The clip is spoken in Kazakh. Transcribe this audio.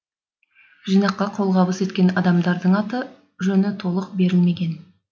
жинаққа қолғабыс еткен адамдардың аты жөні толық берілмеген